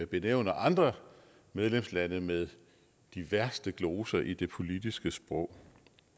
benævner andre medlemslande med de værste gloser i det politiske sprog